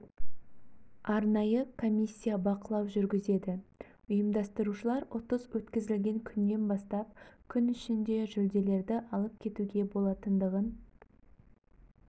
арнайы комиссия бақылау жүргізеді ұйымдастырушылар ұтыс өткізілген күннен бастап күн ішінде жүлделерді алып кетуге болатындығын